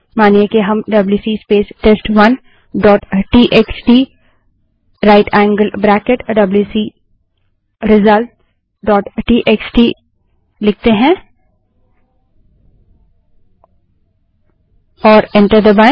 मानिए कि हम WC space test one dot TXT right angled bracket WC result dot TXT WC space test one dot TXT right angled bracket WC results dot TXT लिखें